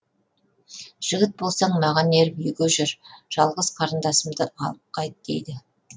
жігіт болсаң маған еріп үйге жүр жалғыз қарындасымды алып қайт дейді